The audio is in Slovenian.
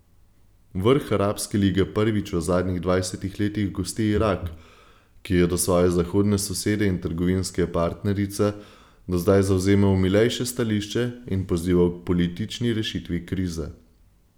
Vrh Arabske lige prvič v zadnjih dvajsetih letih gosti Irak, ki je do svoje zahodne sosede in trgovinske partnerice do zdaj zavzemal milejše stališče in pozival k politični rešitvi krize.